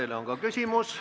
Teile on ka küsimus.